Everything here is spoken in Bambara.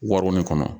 Waronen kɔnɔ